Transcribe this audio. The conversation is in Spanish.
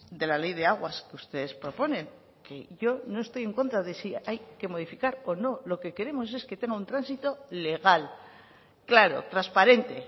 de la ley de aguas ustedes proponen que yo no estoy en contra de si hay que modificar o no lo que queremos es que tenga un tránsito legal claro transparente